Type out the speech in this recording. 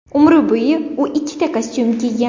Umr bo‘yi u ikkita kostyum kiygan.